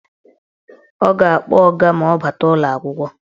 Ọ ga-akpọ ọga ma ọ bata ụlọakwụkwọ.